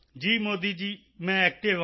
ਜੀ ਮੋਦੀ ਜੀ ਮੈਂ ਐਕਟਿਵ ਹਾਂ